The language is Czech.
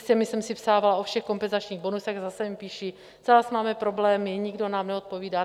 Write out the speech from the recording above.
S těmi jsem si psávala o všech kompenzačních bonusech, zase mi píší: Zase máme problémy, nikdo nám neodpovídá.